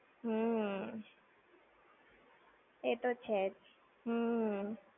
હમ્મ. એ તો છે જ. હમ્મ.